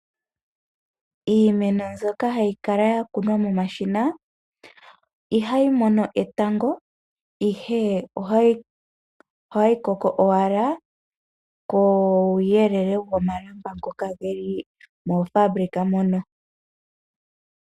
Iimeno mbyoka hayi kala yakunwa momashina, ihayi mono etango, ihe ohayi koko owala kuuyelele womalamba ngoka geli moofaabulika mono.